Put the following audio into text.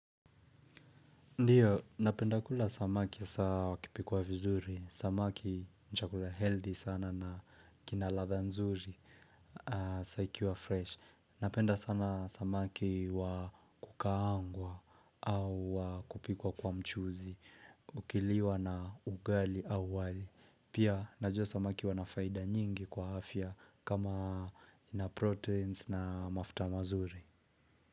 Ndiyo, napenda kula samaki saa wakipikwa vizuri, samaki ni chakula healthy sana na kinaladha nzuri, saikiwa fresh. Napenda sana samaki wa kukaangwa au wakupikwa kwa mchuzi, ukiliwa na ugali au wali. Pia, najua samaki wanafaida nyingi kwa hafia kama na proteins na mafta mazuri.